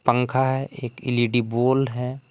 पंखा है एक एल_इ_डी बोल है।